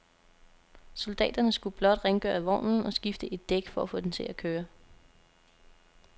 Soldaterne skulle blot rengøre vognen og skifte et dæk for at få den til at køre.